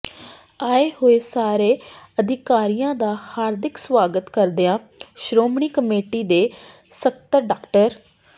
ਆਏ ਹੋਏ ਸਾਰੇ ਅਧਿਕਾਰੀਆਂ ਦਾ ਹਾਰਦਿਕ ਸਵਾਗਤ ਕਰਦਿਆਂ ਸ਼੍ਰੋਮਣੀ ਕਮੇਟੀ ਦੇ ਸਕੱਤਰ ਡਾ